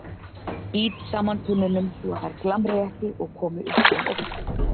Bít saman tönnunum svoað þær glamri ekki og komi upp um óttann.